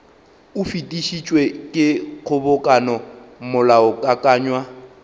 o fetišitšwe ke kgobokano molaokakanywa